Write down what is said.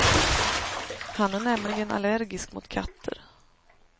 Han är nämligen allergisk mot katter.